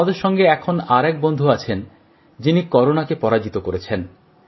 আমাদের সঙ্গে এখন আর এক বন্ধু আছেন যিনি করোনাকে পরাজিত করেছেন